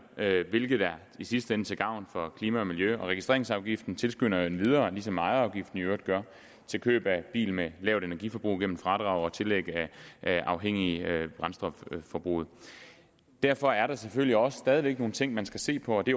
hvilket i sidste ende er til gavn for klima og miljø registreringsafgiften tilskynder endvidere ligesom ejerafgiften i øvrigt gør til køb af biler med et lavt energiforbrug gennem fradrag og tillæg afhængigt af brændstofforbruget derfor er der selvfølgelig også stadig væk nogle ting man skal se på og det